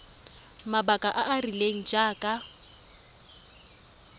mabaka a a rileng jaaka